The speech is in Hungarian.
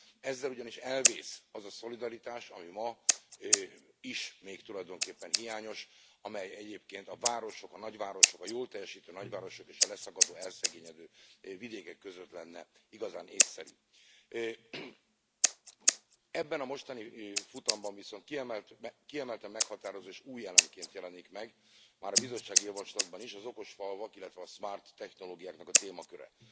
Ezzel ugyanis elvész az a szolidaritás, ami ma is még tulajdonképpen hiányos, amely egyébként a városok, a nagyvárosok, a jól teljesítő nagyvárosok és a leszakadó, elszegényedő vidékek között lenne igazán észszerű. Ebben a mostani futamban viszont kiemelten meghatározó és új elemként jelenik meg már a bizottsági javaslatban is az okos falvak, illetve a smart technológiáknak a témaköre.